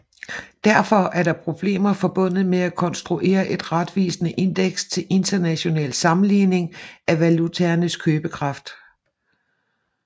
Derfor er der problemer forbundet med at konstruere et retvisende indeks til international sammenligning af valutaernes købekraft